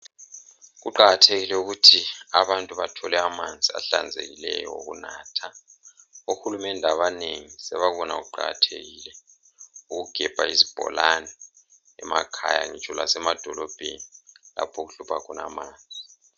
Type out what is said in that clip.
Kuqakathekile ukuthi abantu bathole amanzi ahlanzekileyo okunatha ohulumende abanengi sebakubona kuqakathekile ukugebha izibholani emakhaya ngitsho lasemadolobheni lapho okuhlupha khona amanzi.